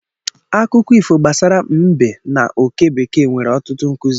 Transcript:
Akụkọ ifo gbasara mbe na oke bekee nwere ọtụtụ nkuzi.